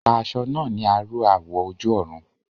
Pa aṣọ náà ní aró awọ̀ ojú-ọ̀run